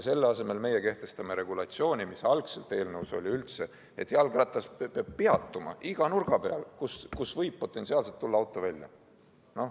Selle asemel kehtestame regulatsiooni, mis algselt eelnõus oli, et jalgratas peab peatuma iga nurga peal, kust võib potentsiaalselt auto välja tulla.